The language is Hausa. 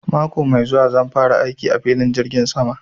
Mako mai zuwa zan fara aiki a filin jirgin sama